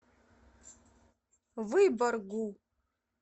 выборгу